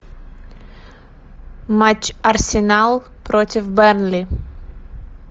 матч арсенал против бернли